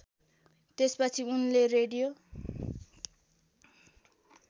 त्यसपछि उनले रेडियो